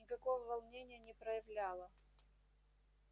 никакого волнения не проявляла